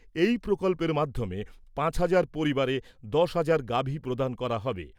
এই প্রকল্পের মাধ্যমে পাঁচ হাজার পরিবারে দশ হাজার গাভী প্রদান করা হবে।